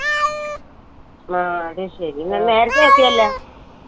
ആ അത് ശരി നിങ്ങ നേരത്തെ എത്തിയില്ല